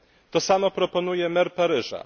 To samo proponuje mer Paryża.